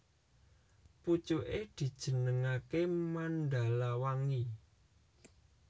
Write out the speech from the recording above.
Pucuké dijenengaké Mandalawangi